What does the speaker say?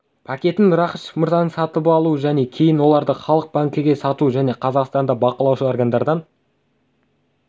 пакетін рақышев мырзаның сатып алуы және кейін оларды халық банкіге сатуы және қазақстанда бақылаушы органдардан